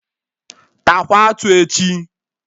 Taakwa atụ echi!